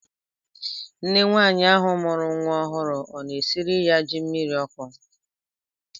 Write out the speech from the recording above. Nne nwaanyị ahụ mụrụ nwa ọhụrụ ọ na-esiri ya ji mmiri ọkụ?